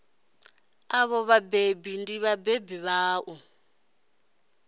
avho vhathu ndi vhabebi vhaṋu